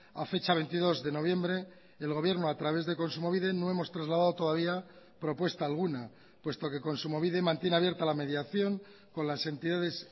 a fecha veintidós de noviembre el gobierno a través de kontsumobide no hemos trasladado todavía propuesta alguna puesto que kontsumobide mantiene abierta la mediación con las entidades